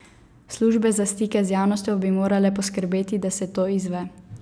Službe za stike z javnostjo bi morale poskrbeti, da se to izve.